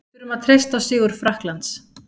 Við þurfum að treysta á sigur Frakklands.